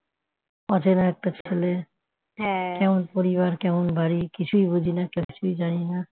অচেনা একটা ছেলে কেমন পরিবার কেমন বাড়ি কিছুই বুঝিনা কিছুই জানিনা